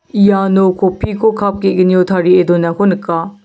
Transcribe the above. iano kopi ko kap ge·gnio tarie donako nika.